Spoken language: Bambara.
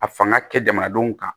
A fanga kɛ jamanadenw kan